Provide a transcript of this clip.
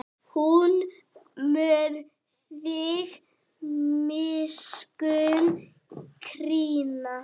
Hann mun þig miskunn krýna.